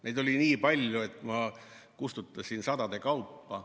Neid oli nii palju, et ma kustutasin sadade kaupa.